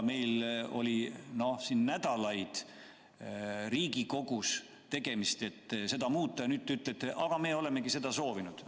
Meil oli siin Riigikogus nädalaid tegemist, et seda muuta, ja nüüd te ütlete, et aga me olemegi seda soovinud.